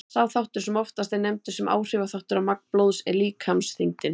Sá þáttur sem oftast er nefndur sem áhrifaþáttur á magn blóðs er líkamsþyngdin.